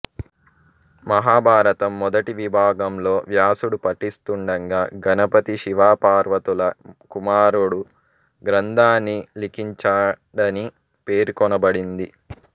మహాభారతం మొదటి విభాగంలో వ్యాసుడు పఠిస్తుండగా గణపతి శివ పార్వతుల కుమారుడు గ్రంథాన్ని లిఖించాడని పేర్కొనబడింది